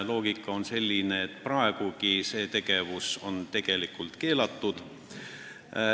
Loogika on selline, et praegugi on teatud tegevus keelatud.